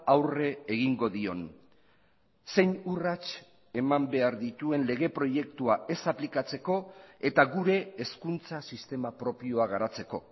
aurre egingo dion zein urrats eman behar dituen lege proiektua ez aplikatzeko eta gure hezkuntza sistema propioa garatzeko